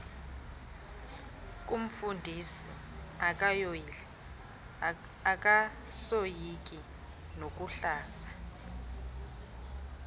koomfundisi akasoyiki nokuhlaza